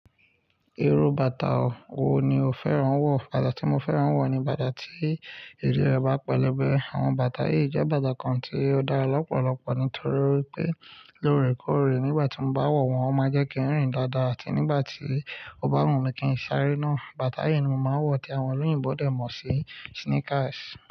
Irú bàtà wo ni o fẹ́ràn lati ma wọ̀? Bàtà tí mo fẹ́ràn lati wọ̀ ni bàtà tí ìdí rẹ̀ bá pẹlẹbẹ. Àwọn bàtà yìí jẹ́ bàtà kan tí ó dára lọ́pọ̀lọpọ̀ nítorí pé lóore kóóre. Nígbà tí mo bá wo wọ̀n, o máa ń jẹ́ kí n rìn dáadáa, àti nígbà tí o bá wùn mí kí n sáré náà. Bàtà yìí ni mo máa ń wọ̀ tí àwon oloyinbo dé mó sì sneakers.